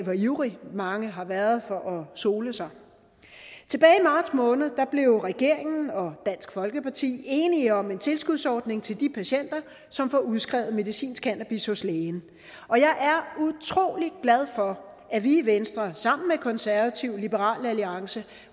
hvor ivrige mange har været for at sole sig tilbage i marts måned blev regeringen og dansk folkeparti enige om en tilskudsordning til de patienter som får udskrevet medicinsk cannabis hos lægen og jeg er utrolig glad for at vi i venstre sammen med konservative liberale alliance